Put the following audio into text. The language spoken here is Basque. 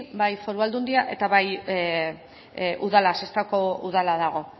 bai foru aldundia eta bai udala sestaoko udala dago